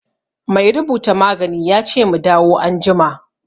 Mai rubuta magani ya ce mu dawo anjima.